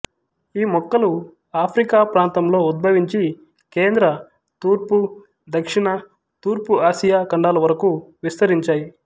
ఈ మొక్కలు ఆఫ్రికా ప్రాంతంలో ఉద్భవించి కేంద్ర తూర్పు దక్షిణ తూర్పు ఆసియా ఖండాలు వరకు విస్తరించాయి